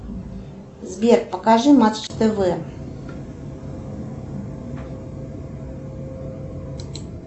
сбер покажи матч тв